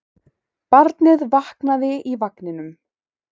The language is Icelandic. Barnið vaknaði í vagninum.